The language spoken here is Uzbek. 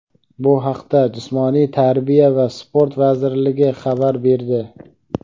Bu haqda Jismoniy tarbiya va sport vazirligi xabar berdi.